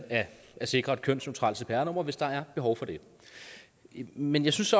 at sikre et kønsneutralt cpr nummer hvis der er behov for det men jeg synes